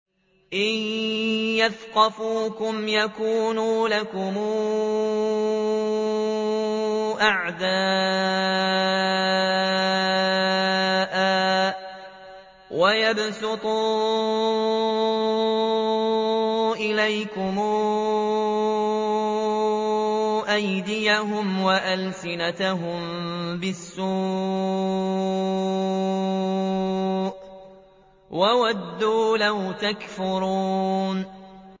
إِن يَثْقَفُوكُمْ يَكُونُوا لَكُمْ أَعْدَاءً وَيَبْسُطُوا إِلَيْكُمْ أَيْدِيَهُمْ وَأَلْسِنَتَهُم بِالسُّوءِ وَوَدُّوا لَوْ تَكْفُرُونَ